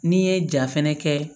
N'i ye ja fɛnɛ kɛ